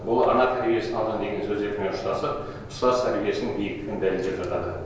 ол ана тәрбиесін алған деген сөздермен ұштасып ұстаз тәрбиесін биіктігін дәлелдеп жатады